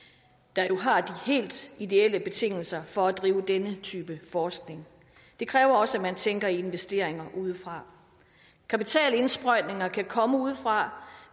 der jo har de helt ideelle betingelser for at bedrive denne type forskning det kræver også at man tænker i investeringer udefra kapitalindsprøjtninger kan komme udefra